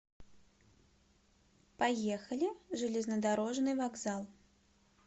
поехали железнодорожный вокзал